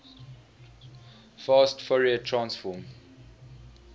fast fourier transform